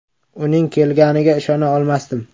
“Uning kelganiga ishona olmasdim.